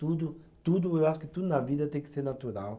Tudo, tudo, eu acho que tudo na vida tem que ser natural.